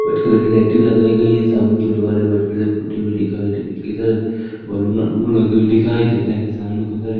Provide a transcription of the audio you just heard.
white colour की lighting लगाई गई है सामने के दिवाले वाइट कलर से पोटी हुई दिखाई दे दिखाई दे रहे हैं सामने खुद सारे--